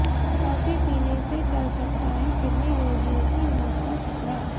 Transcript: coffee पीने से टल सकता है किडनी रोगियों की मौत का खतरा